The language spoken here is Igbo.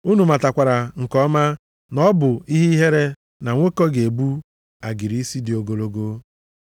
Unu matakwara nke ọma na ọ bụ ihe ihere na nwoke ga-ebu agịrị isi dị ogologo.